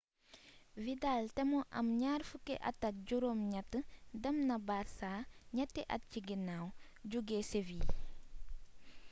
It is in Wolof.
vidal te mu am 28-at dem na barça ñetti at ci ginnaaw jóge seville